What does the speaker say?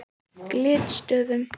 Glitstöðum